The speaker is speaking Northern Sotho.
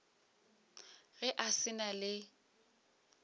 ge a sa na le